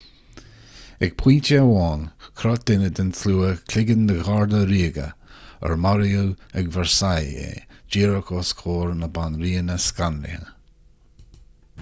ag pointe amháin chroith duine den tslua cloigeann de gharda ríoga ar maraíodh ag versailles é díreach os comhair na banríona scanraithe